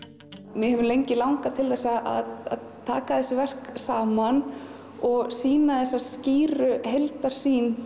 mér hefur lengi langað til að taka þessi verk saman og sýna þessa skýru heildarsýn